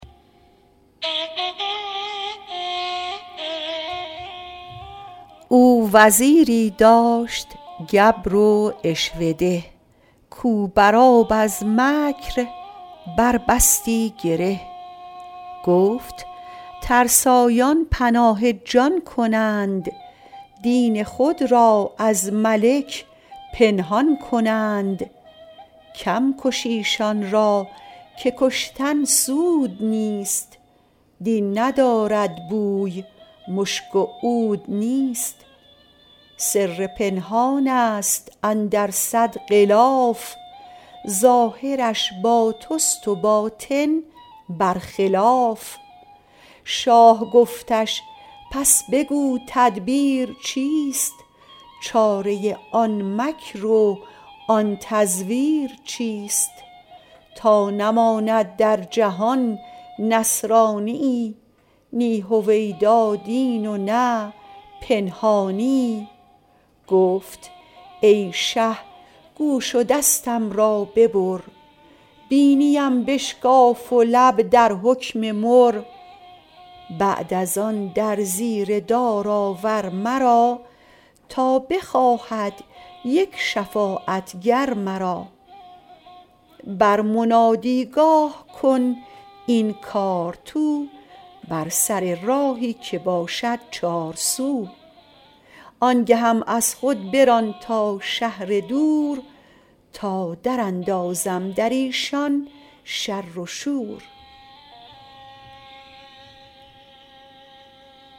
او وزیری داشت گبر و عشوه ده کو بر آب از مکر بر بستی گره گفت ترسایان پناه جان کنند دین خود را از ملک پنهان کنند کم کش ایشان را که کشتن سود نیست دین ندارد بوی مشک و عود نیست سر پنهانست اندر صد غلاف ظاهرش با تست و باطن بر خلاف شاه گفتش پس بگو تدبیر چیست چاره آن مکر و آن تزویر چیست تا نماند در جهان نصرانیی نی هویدا دین و نه پنهانیی گفت ای شه گوش و دستم را ببر بینی ام بشکاف و لب در حکم مر بعد از آن در زیر دار آور مرا تا بخواهد یک شفاعت گر مرا بر منادی گاه کن این کار تو بر سر راهی که باشد چارسو آنگهم از خود بران تا شهر دور تا در اندازم دریشان شر و شور